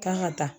Kan ka taa